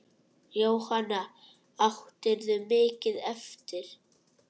Jóhanna: Áttirðu mikið eftir?